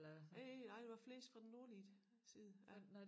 Øh nej der var flest fra den nordlige side ja